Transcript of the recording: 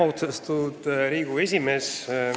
Austatud Riigikogu esimees!